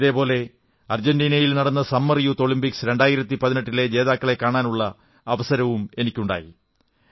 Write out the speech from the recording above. ഇതേപോലെ അർജന്റീനയിൽ നടന്ന സമ്മർ യൂത്ത് ഒളിമ്പിക്സ് 2018 ലെ ജേതാക്കളെ കാണാനുള്ള അവസരമുണ്ടായി